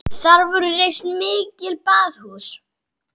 Þar voru reist mikil baðhús.